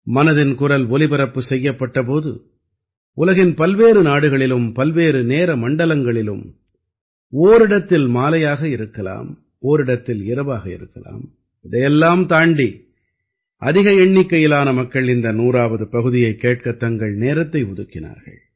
மனதின் குரல் ஒலிபரப்பு செய்யப்பட்ட போது உலகின் பல்வேறு நாடுகளிலும் பல்வேறு நேர மண்டலங்களிலும் ஓரிடத்தில் மாலையாக இருக்கலாம் ஓரிடத்தில் இரவாக இருக்கலாம் இதையெல்லாம் தாண்டி அதிக எண்ணிக்கையிலான மக்கள் இந்த 100ஆவது பகுதியைக் கேட்கத் தங்கள் நேரத்தை ஒதுக்கினார்கள்